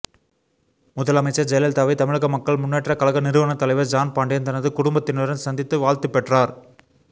முதலமைச்சர் ஜெயலலிதாவை தமிழக மக்கள் முன்னேற்றக் கழக நிறுவனத் தலைவர் ஜான் பாண்டியன் தனது குடும்பத்தினருடன் சந்தித்து வாழ்த்து பெற்றார்